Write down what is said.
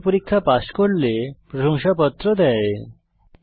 online পরীক্ষা pass করলে প্রশংসাপত্র দেওয়া হয়